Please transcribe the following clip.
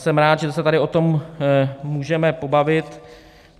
Jsem rád, že se tady o tom můžeme pobavit.